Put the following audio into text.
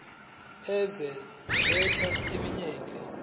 yezwe lethu eminyakeni